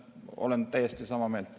Olen täiesti sama meelt.